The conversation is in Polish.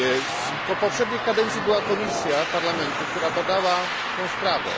W poprzedniej kadencji była komisja Parlamentu, która badała tę sprawę.